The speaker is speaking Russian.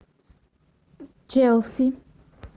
челси